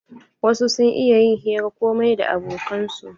Wasu sun iya yin hiran komai da abokan su.